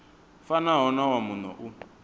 fanaho na wa muno u